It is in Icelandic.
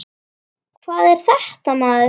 Hvað er þetta, maður?